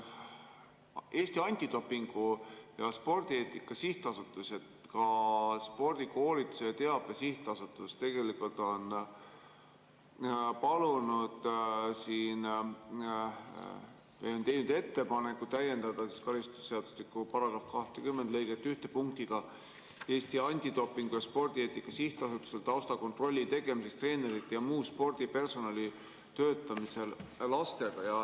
Eesti Antidopingu ja Spordieetika Sihtasutus ja ka Spordikoolituse ja ‑Teabe Sihtasutus on palunud või teinud ettepaneku täiendada karistusseadustiku § 20 lõiget 1 punktiga: "Eesti Antidopingu ja Spordieetika Sihtasutusel taustakontrolli tegemiseks treenerite jm spordipersonali töötamisel lastega.